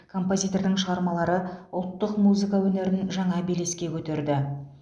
композитордың шығармалары ұлттық музыка өнерін жаңа белеске көтерді